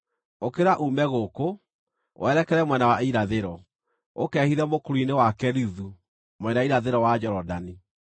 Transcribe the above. “Ũkĩra uume gũkũ, werekere mwena wa irathĩro, ũkehithe mũkuru-inĩ wa Kerithu mwena wa irathĩro wa Jorodani.